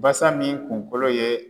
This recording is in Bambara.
Basa min kungolo ye